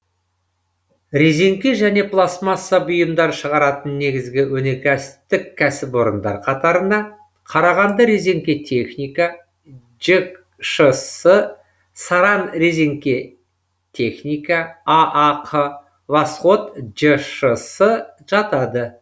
резеңке және пластмасса бұйымдар шығаратын негізгі өнеркәсіптік кәсіпорындар қатарына қарағанды резеңке техника жшс саранрезеңкетехника аақ восход жшс жатады